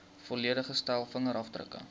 volledige stel vingerafdrukke